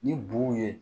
Ni bun ye